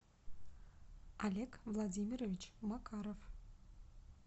олег владимирович макаров